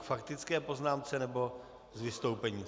K faktické poznámce, nebo s vystoupením?